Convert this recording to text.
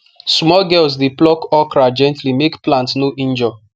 small girls dey pluck okra gently make plant no injure